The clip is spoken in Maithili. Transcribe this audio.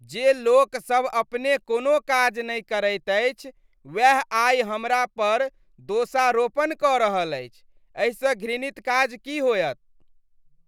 जे लोकसभ अपने कोनो काज नहि करैत अछि वैह आइ हमरा पर दोषारोपण कऽ अछि, एहिसँ घृणित काज की होयत ?